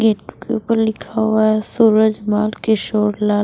gate के ऊपर लिखा हुआ है सूरज माल किशोर लाल--